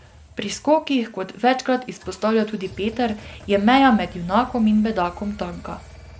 Pri skokih, kot večkrat izpostavlja tudi Peter, je meja med junakom in bedakom tanka.